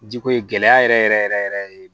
Jiko ye gɛlɛya yɛrɛ yɛrɛ yɛrɛ